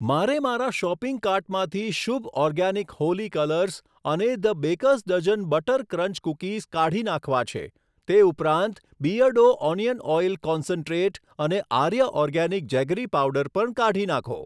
મારે મારા શોપિંગ કાર્ટમાંથી શુભ ઓર્ગાનીક હોલી કલર્સ અને the baker's dozen butter crunch cookies કાઢી નાખવા છે, તે ઉપરાંત બીઅર્ડો ઓનિયન ઓઈલ કોન્સન્ટ્રેટ અને આર્ય ઓર્ગેનિક જેગરી પાવડર પણ કાઢી નાંખો.